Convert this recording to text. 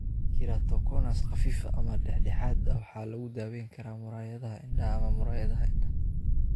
Keratoconus khafiif ah ama dhexdhexaad ah waxaa lagu daweyn karaa muraayadaha indhaha ama muraayadaha indhaha.